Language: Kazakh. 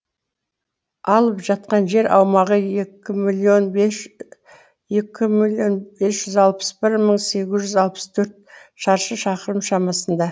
алып жатқан жер аумағы екі миллион бес жүз алпыс бір мың сегіз жүз алпыс төрт шаршы шақырым шамасында